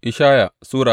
Ishaya Sura